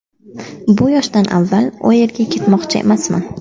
Bu yoshdan avval u yerga ketmoqchi emasman.